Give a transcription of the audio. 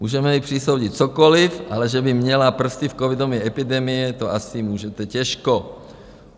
Můžete jí přisoudit cokoliv, ale že by měla prsty v covidové epidemii, to asi můžete těžko.